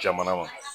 Jamana ma